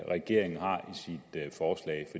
regeringen har